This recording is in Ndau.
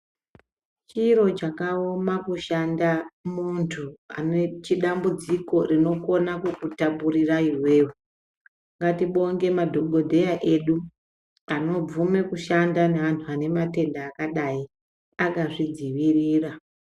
Chiro chakaoma kushanda muntu anoite dambudziko rinokona kukutapurira iwewe. Ndatibonge madhogodheya edu anobvume kushanda neanhu ane matenda akadai akazvidzivirira.